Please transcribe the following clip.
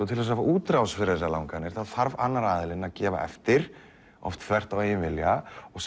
til að fá útrás fyrir þessar langanir þarf annar aðilinn að gefa eftir oft þvert á eigin vilja og